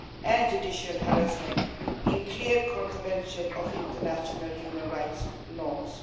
and judicial harassment in clear contravention of international human rights norms.